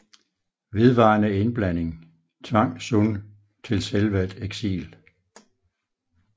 Vedvarende indblanding tvang Sun til selvvalgt eksil